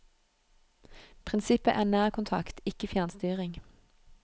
Prinsippet er nærkontakt, ikke fjernstyring.